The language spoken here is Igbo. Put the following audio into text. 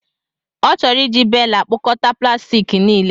Ọ chọrọ iji bela kpokọta plastik niile.